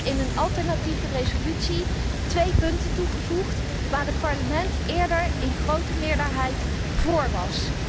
Daarom heb ik in een alternatieve resolutie twee punten toegevoegd waar het Parlement eerder in grote meerderheid vóór was.